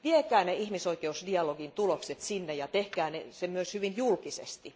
Viekää ihmisoikeusdialogin tulokset sinne ja tehkää se myös hyvin julkisesti.